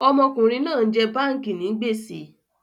Ọmọkùnrin náà ń jẹ báànkì ni gbèsè